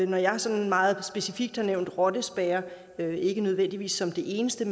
når jeg sådan meget specifikt har nævnt rottespærrer ikke nødvendigvis som det eneste